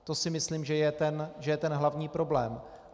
To si myslím, že je ten hlavní problém.